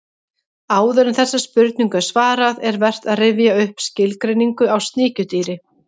Áður en þessari spurningu er svarað er vert að rifja upp skilgreiningu á sníkjudýri.